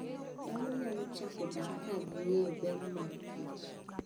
Dhano nyalo chako dak ka ging'eyo ber marKich.